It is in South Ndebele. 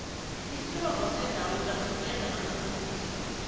isirobho seendawula siveza amaqiniso